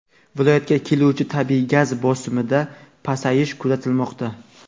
viloyatga keluvchi tabiiy gaz bosimida pasayish kuzatilmoqda.